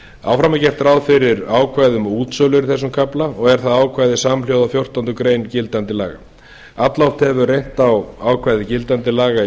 áfram er gert ráð fyrir ákvæðum um útsölur í þessum kafla og er það ákvæði samhljóða fjórtándu greinar gildandi laga alloft hefur reynt á ákvæði gildandi laga